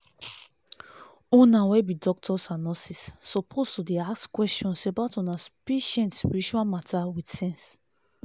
una wey be doctors and nurses suppose dey ask questions about una patients spiritual matter with sense